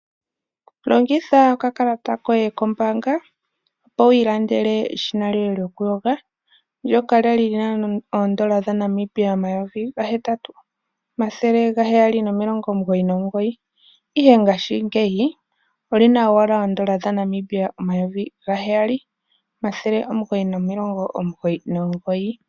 Longitha okakalata koye kombaanga opo wi ilandele eshina lyoye lyokuyoga ndjoka lali lina oondola dha Namibia omayovi gahetatu omathele omilongo mugoyi nomugoyi ihe ngashingeyi olina owala oondola dha Namibia omayovi gaheyali omathele omugoyi nomilongo omugoyi nomugoyi.